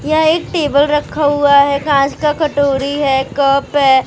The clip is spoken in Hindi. यह एक टेबल रखा हुआ है कांच का कटोरी है कप है एक इन्सान --